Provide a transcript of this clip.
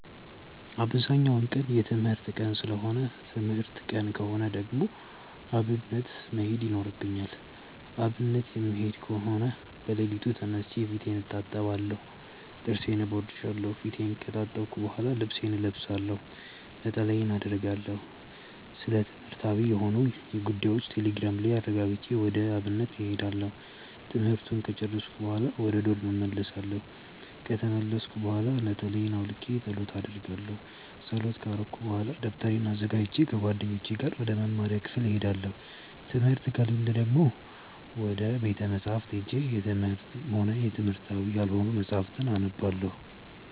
አብዛኛው ቀን የትምህርት ቀን ሰለሆነ ትምህርት ቀን ከሆነ ደግሞ አብነት መሄድ ይኖርብኛል። አብነት የምሄድ ከሆነ በለሊቱ ተነስቼ ፊቴን እታጠባለሁ ጥርሴን እቦርሻለው። ፊቴን ከታጠብኩ በሆላ ልብሴን እለብሳለሁ፣ ነጠላዬን አረጋለሁ፣ ስለትምህርትዊ የሆኑ ጉዳዮችን ቴሌግራም ላይ አረጋግጬ ወደ አብነት እሄዳለሁ። ትምህርቱን ከጨርስኩኝ በሆላ ወደ ዶርም እመልሳለው። ከተመለስኩኝ ብሆላ ነጠላየን አውልቄ ፀሎት አረጋለው። ፀሎት ከረኩኝ በሆላ ደብተሬን አዘጋጅቼ ከጓደኞቼ ጋር ወደ መምሪያ ክፍል እሄዳለው። ትምህርት ከሌለ ደግሞ ወደ ቤተ መፅሀፍት ሄጄ የትምህርትም ሆነ የትምህርታዊ ያልሆኑ መፅሀፍትን አነባለው።